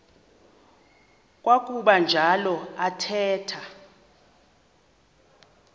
kwakuba njalo athetha